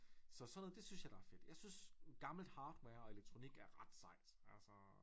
Så sådan noget det synes jeg der er fedt jeg synes gammelt hardware og elektronik er ret sejt altså